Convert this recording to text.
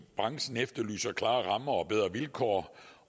branchen efterlyser klare rammer og bedre vilkår